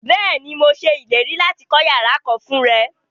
Bẹ́ẹ̀ni, mo ṣẹ ilẹ̀rí láti kọ yàrà kán fún rẹ.